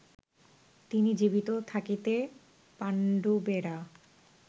তিনি জীবিত থাকিতে পাণ্ডবেরা